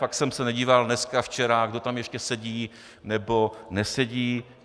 Fakt jsem se nedíval dneska, včera, kdo tam ještě sedí nebo nesedí.